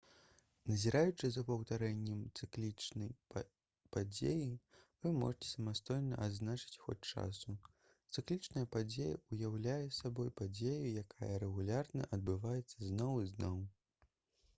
назіраючы за паўтарэннем цыклічнай падзеі вы можаце самастойна адзначыць ход часу цыклічная падзея ўяўляе сабой падзею якая рэгулярна адбываецца зноў і зноў